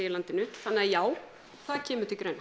í landinu þannig að já það kemur til greina